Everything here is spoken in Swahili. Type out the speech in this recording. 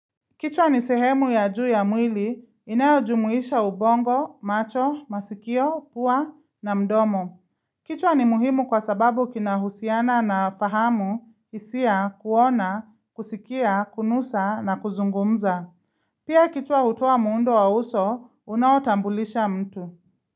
Kichwa ni sehemu ya juu ya mwili, inayojumuisha ubongo, macho, masikio, pua na mdomo. Kichwa ni muhimu kwa sababu kinahusiana na fahamu, hisia, kuona, kusikia, kunusa na kuzungumza. Pia kichwa hutoa muundo wa uso, unaotambulisha mtu.